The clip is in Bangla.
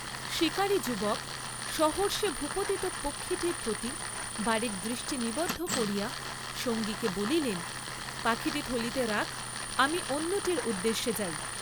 শীকারী যুবক সহর্ষে ভূপতিত পক্ষীটির প্রতি বারেক দৃষ্টি নিবদ্ধ করিয়া সঙ্গীকে বলিলেন পাখীটি থলিতে রাখ আমি অন্যটির উদ্দেশে যাই।